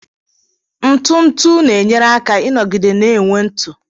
Ntu ntu na-enyere aka ịnọgide na-enwe ntu.